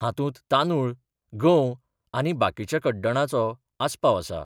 हातुंत तांदुळ, गंव आनी बाकिच्या कड्डणाचो आसपाव आसा.